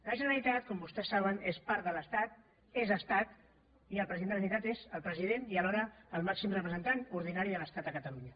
la generalitat com vostès saben és part de l’estat és estat i el president de la generalitat és el president i alhora el màxim representant ordinari de l’estat a catalunya